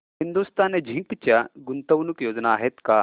Hindustan zinc च्या गुंतवणूक योजना आहेत का